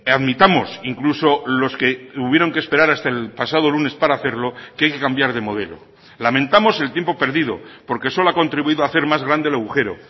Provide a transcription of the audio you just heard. admitamos incluso los que hubieron que esperar hasta el pasado lunes para hacerlo que hay que cambiar de modelo lamentamos el tiempo perdido porque solo ha contribuido a hacer más grande el agujero